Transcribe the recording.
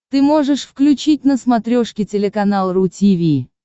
ты можешь включить на смотрешке телеканал ру ти ви